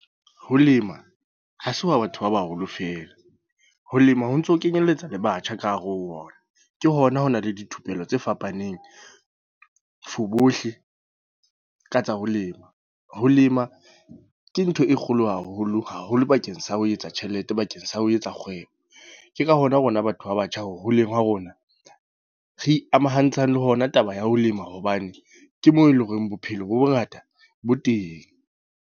Ho lema, ha se wa batho ba baholo fela. Ho lema ho ntso kenyelletsa le batjha ka hare ho ona. Ke hona ho na le dithupelo tse fapaneng, for bohle ka tsa ho lema. Ho lema ke ntho e kgolo haholo, haholo bakeng sa ho etsa tjhelete bakeng sa ho etsa kgwebo. Ke ka hona rona batho ba batjha ho holeng ha rona. Re ikamahantseng le hona taba ya ho lema. Hobane, ke moo eleng hore bophelo bo bongata bo teng.